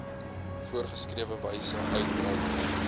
voorgeskrewe wyse uitreik